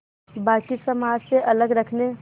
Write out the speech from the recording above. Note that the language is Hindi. बाक़ी समाज से अलग रखने